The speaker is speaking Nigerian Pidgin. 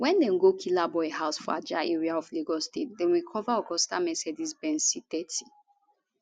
wen dem go killaboi house for ajah area of lagos state dem recova augusta mercedes benz c30